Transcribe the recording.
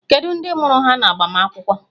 Kedu ndị mụrụ ha n'agbamakwụkwọ?